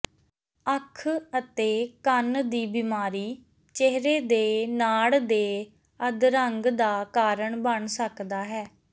ਅੱਖ ਅਤੇ ਕੰਨ ਦੀ ਬਿਮਾਰੀ ਚਿਹਰੇ ਦੇ ਨਾੜ ਦੇ ਅਧਰੰਗ ਦਾ ਕਾਰਨ ਬਣ ਸਕਦਾ ਹੈ